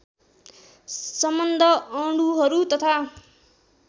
सम्बन्ध अणुहरू तथा